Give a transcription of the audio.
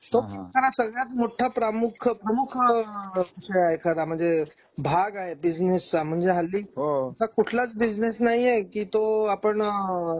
तो हा हा सगळ्यात मोठा प्रमुख प्रमुख आहे एखादा म्हणजे भाग आहे बिझनेसचा म्हणजे हल्ली हो हो असा कुठला बिझनेस नाही आहे की तो आपण